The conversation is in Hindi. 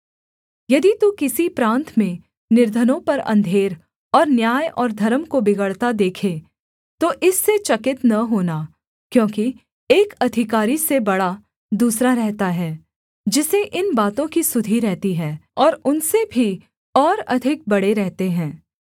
यदि तू किसी प्रान्त में निर्धनों पर अंधेर और न्याय और धर्म को बिगड़ता देखे तो इससे चकित न होना क्योंकि एक अधिकारी से बड़ा दूसरा रहता है जिसे इन बातों की सुधि रहती है और उनसे भी और अधिक बड़े रहते हैं